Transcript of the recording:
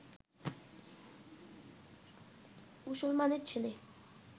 মুসলমানের ছেলে